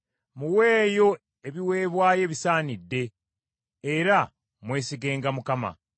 Muweeyo ebiweebwayo ebisaanidde; era mwesigenga Mukama .